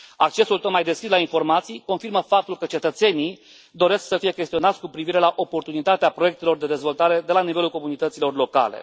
Accesul tot mai deschis la informații confirmă faptul că cetățenii doresc să fie chestionați cu privire la oportunitatea proiectelor de dezvoltare de la nivelul comunităților locale.